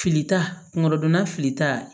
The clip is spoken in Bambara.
Filita kungo donna filita